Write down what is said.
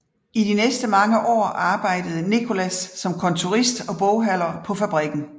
I de næste mange år arbejdede Nicolas som kontorist og bogholder på fabrikken